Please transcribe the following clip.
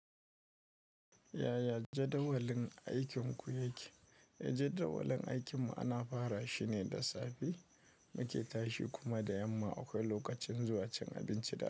Yaya jadawalin aikinku yake? Jadawalin aikin mu ana fara shine da safe muke tashi kuma da yamma akwai lokacin zuwa cin abinci da.